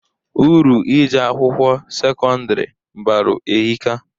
Uru ije akwụkwọ sekọndiri balụ ehika.